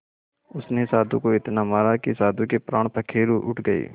उसने साधु को इतना मारा कि साधु के प्राण पखेरु उड़ गए